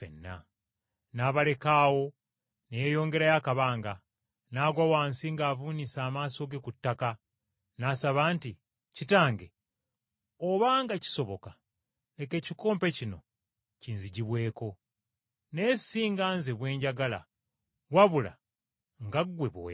N’abaleka awo ne yeeyongerayo akabanga, n’agwa wansi ng’avuunise amaaso ge ku ttaka, n’asaba nti, “Kitange! Obanga kisoboka, leka ekikompe kino kinzigibweko. Naye si nga Nze bwe njagala, wabula nga ggwe bw’oyagala.”